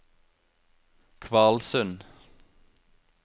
Kvalsund